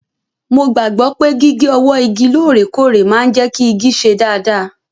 Mo gbàgbọ́ pé gígé ọwọ́ igi lóòrèkóòrè máa ń jẹ́ kí igi ṣe dáadáa.